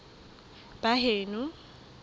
baheno